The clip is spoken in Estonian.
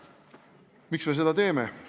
Miks me seda teeme?